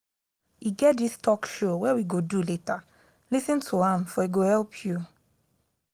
e get dis talk show wey we go do later lis ten to am for e go help you